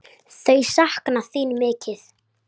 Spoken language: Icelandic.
Þau sakna þín mikið.